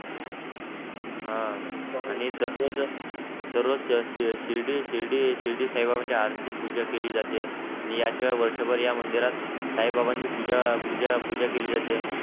हा आणि दर रोज शिर्डी शिर्डी शिर्डी साई बाबांची आरती पूजा केली जाते आणि या शिवाय वर्षभर या मंदिरात साई बाबांची पूजा केली जाते.